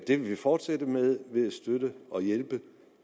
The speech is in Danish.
det vil vi fortsætte med ved at støtte og hjælpe